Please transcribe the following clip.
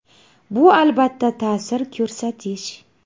Bu albatta ta’sir ko‘rsatish!